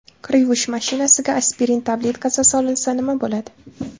Kir yuvish mashinasiga aspirin tabletkasi solinsa nima bo‘ladi?.